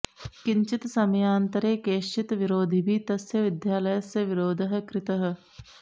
किञ्चित् समयान्तरे कैश्चित् विरोधिभिः तस्य विद्यालस्य विरोधः कृतः